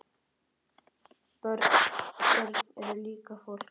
Börn eru líka fólk.